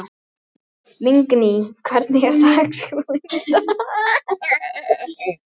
Lingný, hvernig er dagskráin í dag?